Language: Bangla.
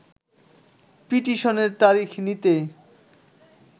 পিটিশনের তারিখ নিতে